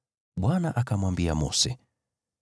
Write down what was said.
Bwana akamwambia Mose,